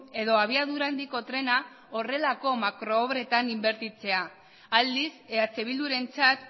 edo abiadura handiko trena horrelako makro obretan inbertitzea aldiz eh bildurentzat